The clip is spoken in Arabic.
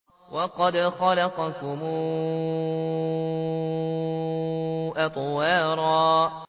وَقَدْ خَلَقَكُمْ أَطْوَارًا